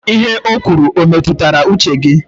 Ihe o kwuru e metụtara uche gị?